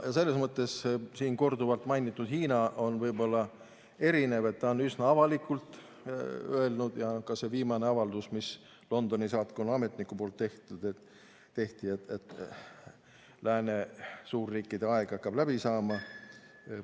Selles mõttes siin korduvalt mainitud Hiina on võib-olla erinev, et ta on üsna avalikult öelnud ja ka see viimane avaldus, mis Londoni saatkonna ametnikud on teinud, ütleb, et lääne suurriikide aeg hakkab läbi saama.